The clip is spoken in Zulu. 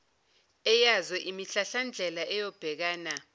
eyazo imihlahlandlela eyobhekana